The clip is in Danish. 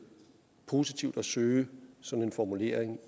positivt at søge sådan en formulering